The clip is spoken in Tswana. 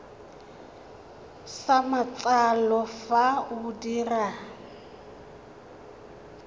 sa matsalo fa o dira